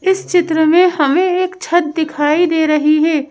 इस चित्र में हमें एक छत दिखाई दे रही है।